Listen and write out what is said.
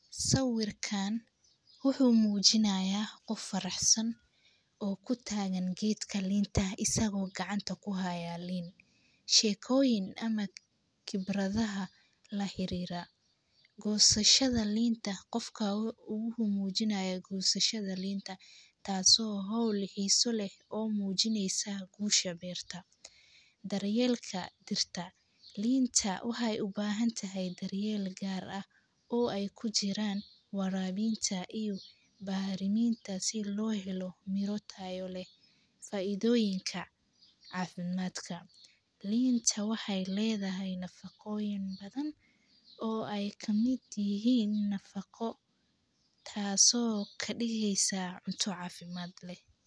Sawirkan wuxuu mujinayaa qof faraxsan oo kuhaya gacanta qibrada laxirira waxaa waye gosasaada dartelka waxee ubahan tahay biyo iyo baxriminta nafaqoyinka linta waxe ledahay nafaqo tasi oo cuntadha kadigeysa mid cafimaad leh.